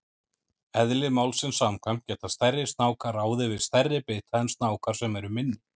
Eðli málsins samkvæmt geta stærri snákar ráðið við stærri bita en snákar sem eru minni.